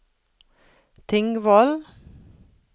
Tingvoll